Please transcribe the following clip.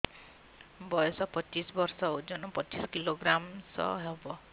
ବୟସ ପଚିଶ ବର୍ଷ ଓଜନ ପଚିଶ କିଲୋଗ୍ରାମସ ହବ